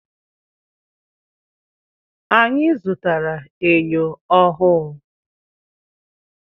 Anyị zụtara enyo ọhụụ.